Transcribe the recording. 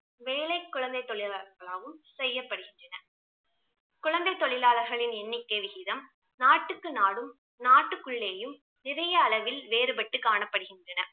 வேலை குழந்தை தொழிலாளர்களாளும் செய்யப்படுகின்றன குழந்தை தொழிலாளர்களின் எண்ணிக்கை விகிதம் நாட்டுக்கு நாடும் நாட்டுக்குள்ளேயும் நிறைய அளவில் வேறுபட்டு காணப்படுகின்றன